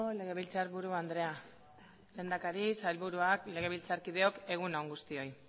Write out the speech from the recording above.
legebiltzarburu andrea lehendakari sailburuak legebiltzarkideok egun on guztioi